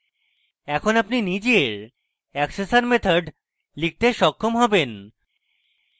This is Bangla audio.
এখন আপনি আপনার নিজের accessor methods লিখতে সক্ষম হবেন